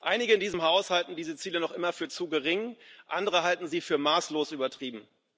Einige in diesem Haus halten diese Ziele noch immer für zu gering, andere halten sie für maßlos übertrieben.